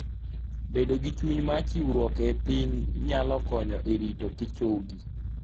Bedo gi chuny mar chiwruok e piny nyalo konyo e ritokichogi.